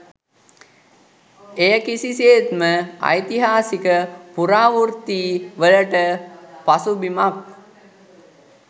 එය කිසිසේත්ම ඓතිහාසික පුරාවෘත්ති වලට පසුබිමක්